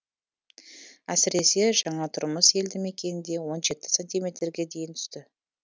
әсіресе жаңатұрмыс елді мекенінде он жеті сантиметрге дейін түсті